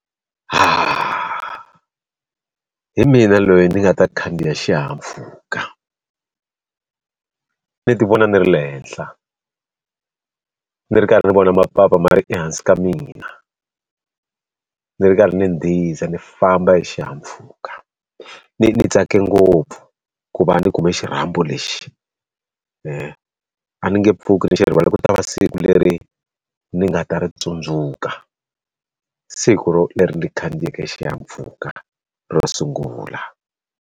hi mina loyi ni nga ta khandziya xihahampfhuka ni ti vona ni ri le henhla ni ri karhi ni vona mapapa ma ri ehansi ka mina a ndzi ri karhi ni ndhiza ni famba hi xihahampfhuka ni tsake ngopfu ku va ni kume xirhambo lexi a ni nge pfuki ni xi ku tiva siku leri ni nga ta ri tsundzuka siku leri ro ni khandziyeke xihahampfhuka ro sungula.